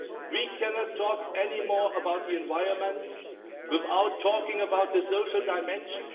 We cannot talk anymore about the environment without talking about the social dimension.